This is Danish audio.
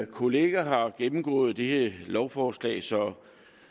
kollega har gennemgået dette lovforslag så